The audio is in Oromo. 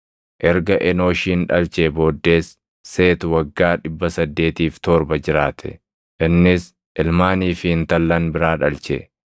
Erga Enooshin dhalchee booddees Seeti waggaa 807 jiraate; innis ilmaanii fi intallan biraa dhalche.